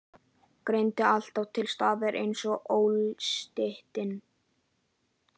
Girndin alltaf til staðar ein og óslitin.